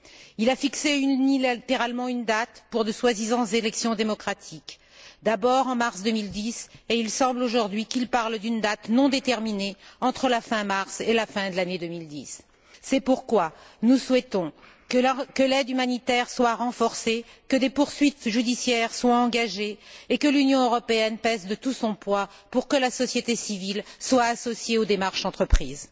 Il a fixé unilatéralement une date pour de soi disant élections démocratiques, tout d'abord en mars 2010, et il semble aujourd'hui qu'il parle d'une date non déterminée entre la fin mars et la fin de l'année 2010. C'est pourquoi nous souhaitons que l'aide humanitaire soit renforcée, que des poursuites judiciaires soient engagées et que l'Union européenne pèse de tout son poids pour que la société civile soit associée aux démarches entreprises.